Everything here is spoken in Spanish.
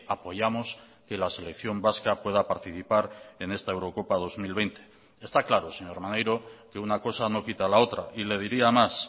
apoyamos que la selección vasca pueda participar en esta eurocopa dos mil veinte está claro señor maneiro que una cosa no quita la otra y le diría más